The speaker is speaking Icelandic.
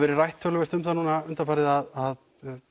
verið rætt töluvert undanfarið að